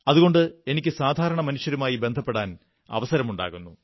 അതുകൊണ്ട് എനിക്കു സാധാരണ മനുഷ്യരുമായി ബന്ധപ്പെടാൻ അവസരമുണ്ടാകുന്നു